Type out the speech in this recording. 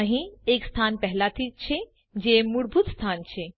અહીં એક સ્થાન પહેલાથી જ છે જે મૂળભૂત સ્થાન છે